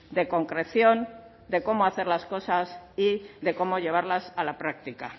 de concreción de cómo hacer las cosas y de cómo llevarlas a la práctica